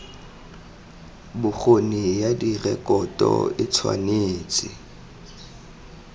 bokgoni ya direkoto e tshwanetse